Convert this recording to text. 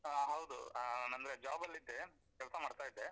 ಹಾ ಹೌದು, ಹ ಅಂದ್ರೆ job ಅಲ್ಲಿದ್ದೆ, ಕೆಲ್ಸ ಮಾಡ್ತಾ ಇದ್ದೆ.